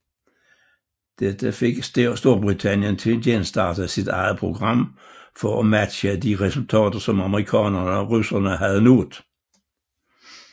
Dette fik Storbritannien til at genstarte sit eget program for at matche de resultater som amerikanerne og russerne havde nået